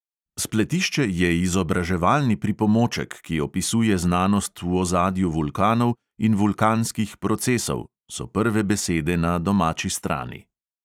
"Spletišče je izobraževalni pripomoček, ki opisuje znanost v ozadju vulkanov in vulkanskih procesov," so prve besede na domači strani.